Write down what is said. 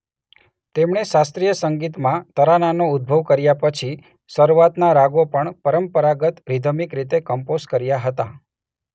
તેમણે શાસ્ત્રીય સંગીતમાં તરાનાનો ઉદ્ભવ કર્યા પછી શરૂઆતના રાગો પણ પરંપરાગત રિધમિક રીતે કમ્પોઝ કર્યા હતા.